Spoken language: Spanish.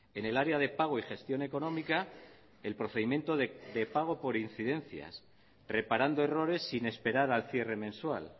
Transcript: en el área de pago y gestión económica el procedimiento de pago por incidencias reparando errores sin esperar al cierre mensual